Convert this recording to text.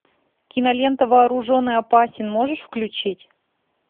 кинолента вооружен и опасен можешь включить